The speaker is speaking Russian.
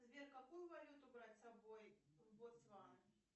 сбер какую валюту брать с собой в ботсвану